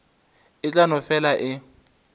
e tla no fela e